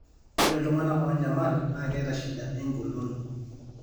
ore iltung'anak oonyamal naa keeta shida enkolon .